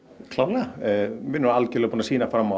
klárlega við algjörlega búin að sýna fram á